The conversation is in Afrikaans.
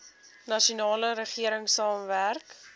nasionale regering saamwerk